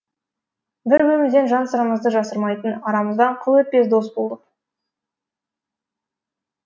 бір бірімізден жан сырымызды жасырмайтын арамыздан қыл өтпес дос болдық